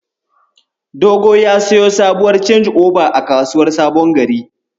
Dogo ya siyo sabuwar canji'oba a kasuwar Sabon Gari.